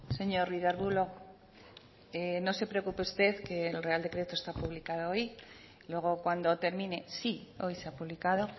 señor ruiz de arbulo no se preocupe usted que el real decreto está publicado hoy luego cuando termine sí hoy se ha publicado